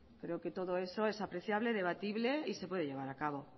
creo que todo eso es apreciable debatible y se puede llevar a cabo